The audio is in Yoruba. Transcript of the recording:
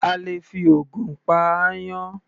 A lè fi ògùn pa aáyán.